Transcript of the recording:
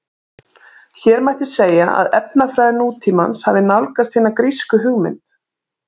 Hér mætti segja að efnafræði nútímans hafi nálgast hina grísku hugmynd.